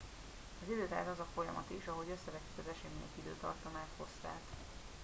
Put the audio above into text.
az idő tehát az a folyamat is ahogy összevetjük az események időtartamát hosszát